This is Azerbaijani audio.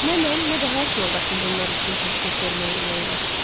Nə mən, nə də həyat yoldaşım bunlar üçün təklif verməyə ürək elədik.